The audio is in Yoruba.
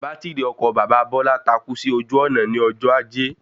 Bátìrì ọkọ̀ bàbá Bọ́lá takú sí ojú ònà ní ọjọ́ ajé